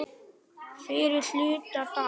Fyrri hluta dags sagði ég.